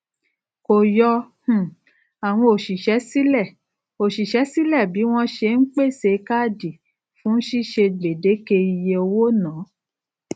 kò yọ um àwọn òṣìṣé sílè òṣìṣé sílè bí wón ṣe n pèsè káàdì fún ṣíṣe gbèdéke iye owónàá